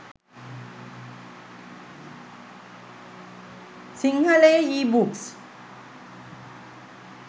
sinhala e books